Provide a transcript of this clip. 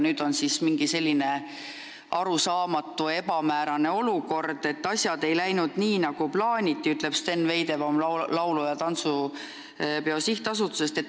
Nüüd on aga tekkinud selline arusaamatu ebamäärane olukord, et asjad ei läinud nii, nagu plaaniti – nii ütleb Sten Veidebaum Laulu- ja Tantsupeo SA-st.